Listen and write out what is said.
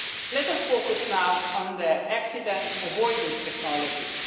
Let us focus now on the accident avoidance technologies.